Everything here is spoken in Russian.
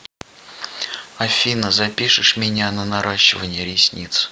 афина запишешь меня на наращивание ресниц